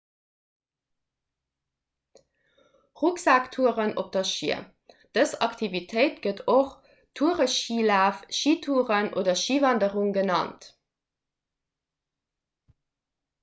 rucksaktouren op schier dës aktivitéit gëtt och toureschilaf schitouren oder schiwanderung genannt